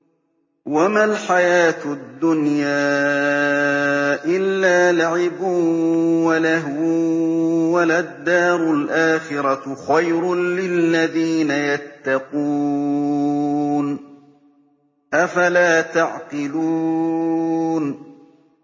وَمَا الْحَيَاةُ الدُّنْيَا إِلَّا لَعِبٌ وَلَهْوٌ ۖ وَلَلدَّارُ الْآخِرَةُ خَيْرٌ لِّلَّذِينَ يَتَّقُونَ ۗ أَفَلَا تَعْقِلُونَ